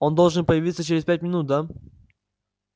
он должен появиться через пять минут да